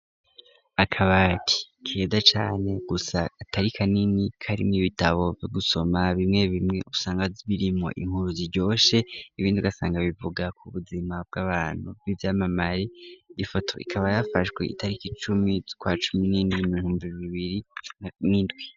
Akabati keza cane gusa katari kanini, karimw'ibitabo vyo gusoma bimwe bimwe usanga birimwo inkuru ziyoshe, ibindi ugasanga bivuga ku buzima bw'abantu bw'ivyamamare, ifoto ikaba yafashwe itariki icumi zukwa cumi n'indwi mu bihumbi bibiri n'indwi.